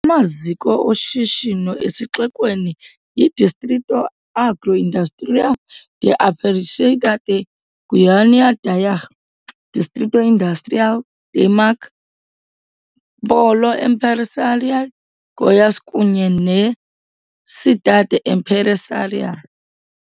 Amaziko oshishino esixekweni yiDistrito Agroindustrial de Aparecida de Goiânia, Daiag, Distrito Industrial, Dimag, Pólo Empresarial Goiás kunye neCidade Empresarial.